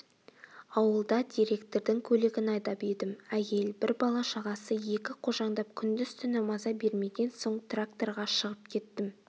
ауылда директордың көлігін айдап едім әйел бір бала-шағасы екі қожаңдап күндіз-түні маза бермеген соң тракторға шығып кеттім